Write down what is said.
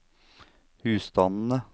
husstandene